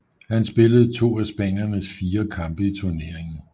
Han spillede to af spaniernes fire kampe i turneringen